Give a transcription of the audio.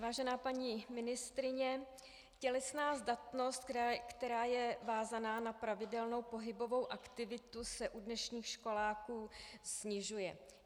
Vážená paní ministryně, tělesná zdatnost, která je vázána na pravidelnou pohybovou aktivitu, se u dnešních školáků snižuje.